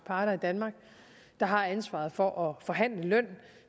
parter i danmark der har ansvaret for at forhandle løn